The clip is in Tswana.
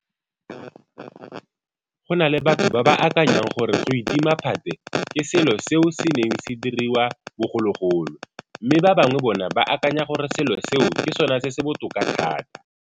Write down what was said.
Go na le batho ba ba akanyang gore go itima phate ke selo seo se neng se diriwa bogologolo, mme ba bangwe bona ba akanya gore selo seo ke sona se se botoka thata.